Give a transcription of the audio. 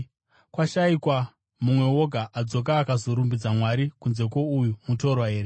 Kwashayikwa mumwe woga adzoka akazorumbidza Mwari kunze kwouyu mutorwa here?”